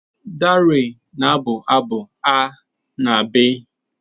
Darey na-abụ abụ Aar&Bii.